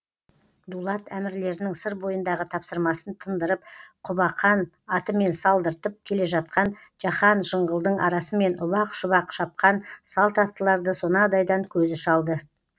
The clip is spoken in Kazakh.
дулат әмірлерінің сыр бойындағы тапсырмасын тындырып құбақан атымен салдыртып келе жатқан жаһан жыңғылдың арасымен ұбақ шұбақ шапқан салт аттыларды сонадайдан көзі шалды